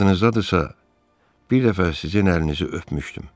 Yadınızdadırsa, bir dəfə sizin əlinizi öpmüşdüm.